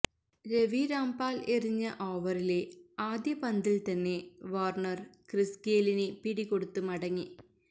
Ravi Rampaul എറിഞ്ഞ ഓവറിലെ ആദ്യ പന്തില് തന്നെ വാര്ണര് ക്രിസ് ഗെയിലിന് പിടികൊടുത്ത് മടങ്ങി